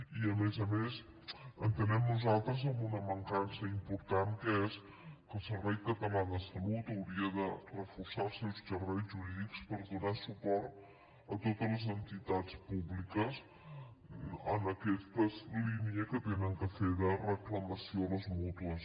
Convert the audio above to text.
i a més a més entenem nosaltres amb una mancança important que és que el servei català de la salut hauria de reforçar els seus serveis jurídics per donar suport a totes les entitats públiques en aquesta línia que han de fer de reclamació a les mútues